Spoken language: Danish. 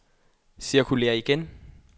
cirkulér igen